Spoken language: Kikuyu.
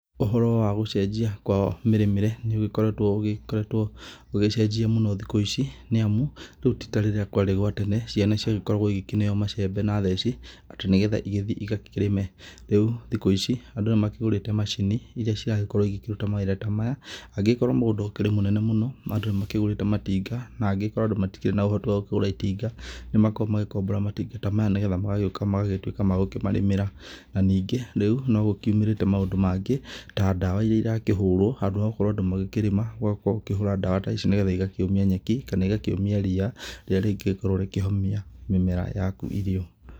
Ũhoro wa gũchejia kwa mĩrĩmire nĩukoretwo ugĩchejia muno thĩkũ ici, niamu rĩu tĩ tarĩrĩa kwarĩ gwa tene ciana ciagĩkoragwo ĩkĩneo machembe na theci atí nigetha igĩthie igakĩrĩme rĩu thiku ici andũ makigutĩte machini ira ciakorwo ikĩruta mawira ta maya, angĩgikorwo mũgunda ũkĩrĩ mũnene mũno na andũ ni makigũrĩte matinga na agĩkorwo andũ matikĩrĩ na ũhoti wa gukĩgura matinga nimakoragwo magikombora matinga ta maya nĩgetha magagĩtuĩka magĩkumarĩmĩra na ningĩ rĩũ nĩgũkumĩrĩte maundu mangĩ ta dawa irĩa irakĩhũrwo, handũ hagũkorwo andũ magĩkĩrĩma makahũra dawa ta ici nĩgetha igakĩumia nyeki kana igakĩumia rĩrĩa rĩngĩkorwo rĩkĩhomia mĩmera yaku irio.